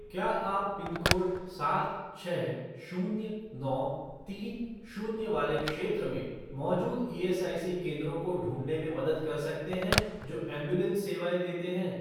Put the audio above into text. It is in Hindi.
क्या आप पिनकोड सात छः शून्य नौ तीन शून्य वाले क्षेत्र में मौजूद ईएसआईसी केंद्रों को ढूँढने में मदद कर सकते हैं जो एंबुलेंस सेवाएँ देते हैं?